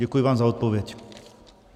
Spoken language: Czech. Děkuji vám za odpověď.